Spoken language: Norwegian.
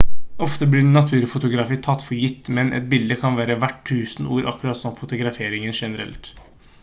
ofte blir naturfotografi tatt for gitt men et bilde kan være verdt tusen ord akkurat som fotografering generelt